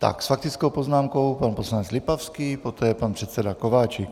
Tak, s faktickou poznámkou pan poslanec Lipavský, poté pan předseda Kováčik.